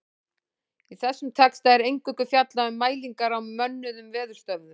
Í þessum texta er eingöngu fjallað um mælingar á mönnuðum veðurstöðvum.